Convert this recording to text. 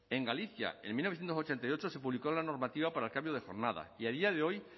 en galicia en mil novecientos ochenta y ocho se publicó la normativa para el cambio de jornada y a día de hoy